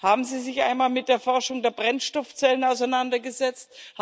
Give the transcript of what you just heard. Haben Sie sich einmal mit der Erforschung der Brennstoffzellen auseinandergesetzt?